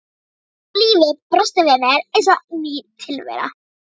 Og lífið brosti við mér eins og ný tilvera.